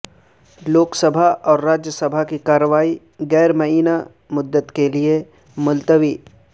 لوک سبھا اور راجیہ سبھا کی کارروائی غیر معینہ مدت کے لئے ملتوی